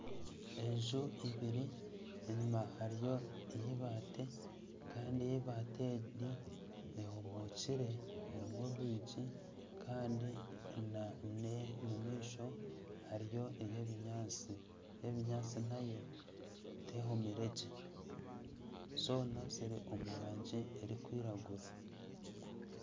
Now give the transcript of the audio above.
Enju ibiri enyuma hariyo ey'eibaati Kandi ey'ebaati egi ehomookire erimu orwigi kandi nana omu maisho hariyo ey'ebinyatsi ey'ebinyatsi nayo tehomire gye zoona ziri omurangi erikwiragura